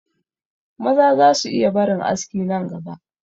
Maza za su iya barin aski nan gaba